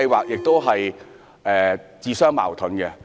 這項安排是自相矛盾的。